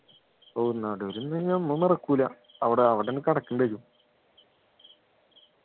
ഓ നടുവിൽ നമ്മ മറക്കൂല അവിടെ അവിടെന്നെ കിടക്കേണ്ടി വരും